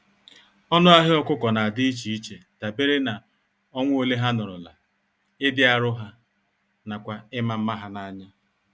Ọnụ ahịa ọkụkọ nadi íchè iche dabere na, ọnwa ole ha nọrọla, ịdị arụ há, nakwa ịma mma ha n'anya.